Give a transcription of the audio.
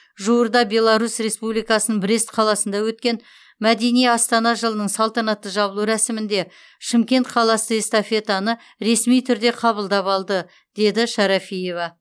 жуырда беларус республикасының брест қаласында өткен мәдени астана жылының салтанатты жабылу рәсімінде шымкент қаласы эстафетаны ресми түрде қабылдап алды деді шарафиева